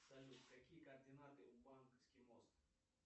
салют какие координаты у банковский мост